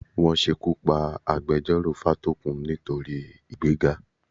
Wọ́n ṣekú pa agbejọ́rò Fátókun nítorí ìgbéga.